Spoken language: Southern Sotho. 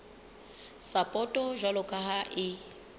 sapoto jwalo ka ha e